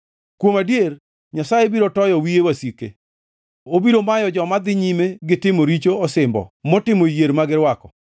Kuom adier, Nyasaye biro toyo wiye wasike, obiro mayo joma dhi nyime gi timo richo osimbo motimo yier ma girwako.